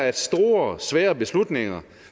at store svære beslutninger